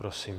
Prosím.